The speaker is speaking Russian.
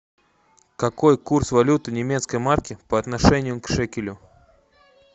какой курс валюты немецкой марки по отношению к шекелю